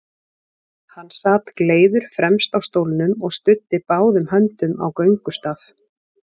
Hann sat gleiður fremst á stólnum og studdi báðum höndum á göngustaf.